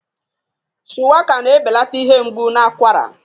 Shuwaka na-ebelata ihe mgbu na akwara.